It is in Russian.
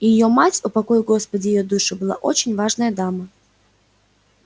и её мать упокой господи её душу была очень важная дама